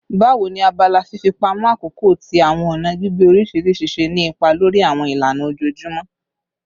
Bawo ni abala fifipamọ akoko ti awọn ọna gbigbe oriṣiriṣi ṣe ni ipa lori awọn ilana ojoojumọ?